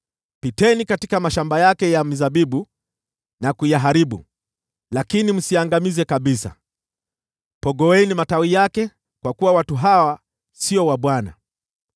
“Piteni katika mashamba yake ya mizabibu na kuyaharibu, lakini msiangamize kabisa. Pogoeni matawi yake, kwa kuwa watu hawa sio wa Bwana .